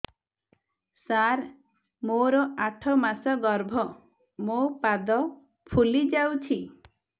ସାର ମୋର ଆଠ ମାସ ଗର୍ଭ ମୋ ପାଦ ଫୁଲିଯାଉଛି